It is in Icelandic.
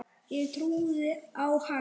Ég trúði á hann.